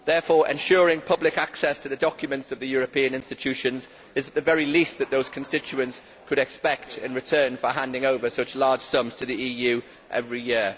Therefore, ensuring public access to the documents of the European institutions is the very least that those constituents could expect in return for handing over such large sums to the EU every year.